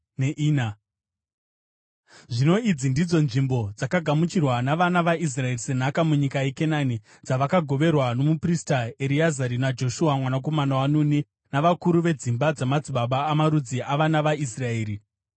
Zvino idzi ndidzo nzvimbo dzakagamuchirwa navana vaIsraeri senhaka munyika yeKenani, dzavakagoverwa nomuprista Ereazari, naJoshua mwanakomana waNuni, navakuru vedzimba dzamadzibaba amarudzi avana vaIsraeri.